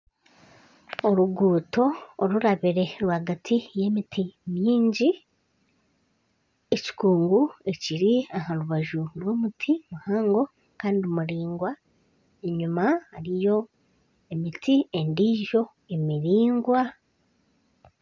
Oruguuto orurabire rwagati y'emiti mingi, ekikungu ekiri aha rubaju rw'omuti muhango kandi muraingwa. Enyima hariyo emiti endiijo emiraingwa.